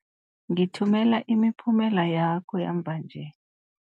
Ngithumela imiphumela yakho yamva nje.